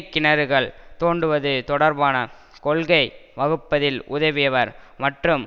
கிணறுகள் தோண்டுவது தொடர்பான கொள்கை வகுப்பதில் உதவியவர் மற்றும்